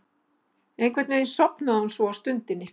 Einhvern veginn sofnaði hún svo á stundinni.